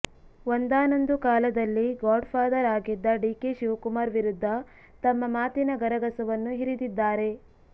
ಒಂದಾನೊಂದು ಕಾಲದಲ್ಲಿ godfather ಆಗಿದ್ದ ಡಿಕೆ ಶಿವಕುಮಾರ್ ವಿರುದ್ಧ ತಮ್ಮ ಮಾತಿನ ಗರಗಸವನ್ನು ಹಿರಿದಿದ್ದಾರೆ